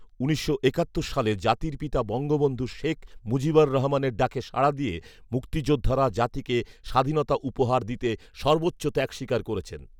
উনিশশো একাত্তর সালে জাতির পিতা বঙ্গবন্ধু শেখ মুজিবুর রহমানের ডাকে সাড়া দিয়ে মুাক্তযোদ্ধারা জাতিকে স্বাধীনতা উপহার দিতে সর্বোচ্চ ত্যাগ স্বীকার করেছেন